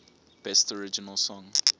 best original song